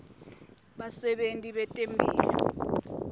basebenti betemphilo